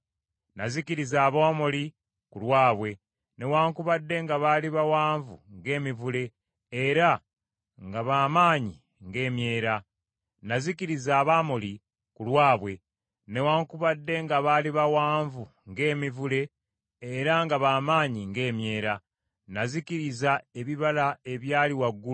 “Nazikiriza Abamoli ku lwabwe newaakubadde nga baali bawanvu ng’emivule era nga ba maanyi ng’emyera. Nazikiriza ebibala ebyali waggulu okutuuka ku mirandira egyali wansi.